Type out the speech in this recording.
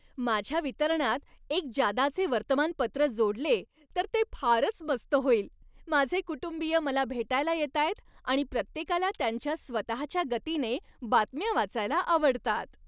माझ्या वितरणात एक जादाचे वर्तमानपत्र जोडले तर ते फारच मस्त होईल! माझे कुटुंबीय मला भेटायला येतायत आणि प्रत्येकाला त्यांच्या स्वतःच्या गतीने बातम्या वाचायला आवडतात.